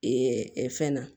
fɛn na